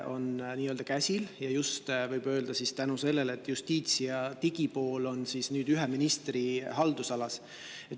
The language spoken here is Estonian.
Võib öelda, et see on just tänu sellele, et justiits‑ ja digipool on nüüd ühe ministri haldusalas.